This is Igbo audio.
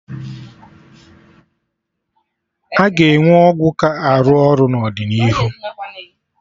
Aga enwe ọgwụ ka arụ ọrụ n'ọdịnihu